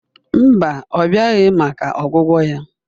Mba, ọ bịaghị maka ọgwụgwọ ya